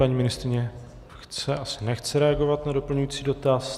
Paní ministryně chce - asi nechce reagovat na doplňující dotaz.